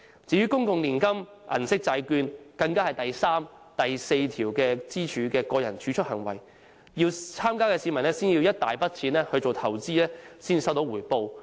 至於公共年金、銀色債券，更是第三、第四根支柱的個人儲蓄行為，參加的市民要先有一大筆金錢投資才收到回報。